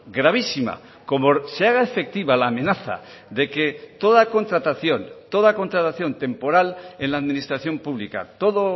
gravísima como se haga efectiva la amenaza de que toda contratación toda contratación temporal en la administración pública todo